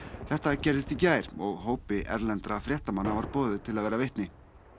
þetta gerðist í gær og hópi erlendra fréttamanna var boðið til að vera vitni